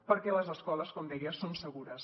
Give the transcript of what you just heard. perquè les escoles com deia són segures